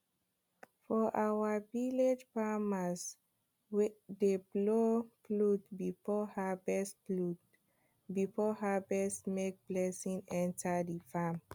for our village farmers dey blow flute before harvest flute before harvest make blessing enter the farm